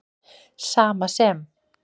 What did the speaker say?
Sama sem